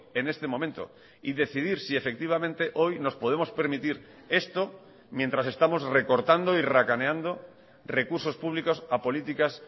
en este momento y decidir si efectivamente hoy nos podemos permitir esto mientras estamos recortando y racaneando recursos públicos a políticas